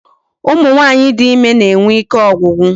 Ụmụ nwaanyị dị ịme na-enwe ike ọgwụgwụ